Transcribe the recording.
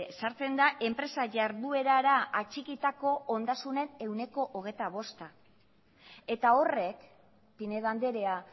sartzen da enpresa jarduerara atxikitako ondasunen ehuneko hogeita bosta eta horrek pinedo andrea